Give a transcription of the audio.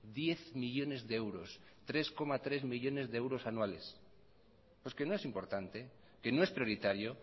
diez millónes de euros tres coma tres millónes de euros anuales pues que no es importante que no es prioritario